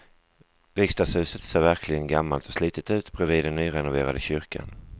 Riksdagshuset ser verkligen gammalt och slitet ut bredvid den nyrenoverade kyrkan.